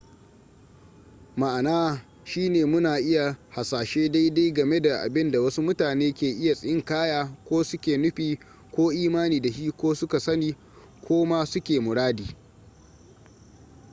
ma'ana shine muna iya hasashe daidai game da abinda wasu mutane ke iya tsinkaya ko su ke nufi ko imani da shi ko su ka sani ko kuma su ke muradi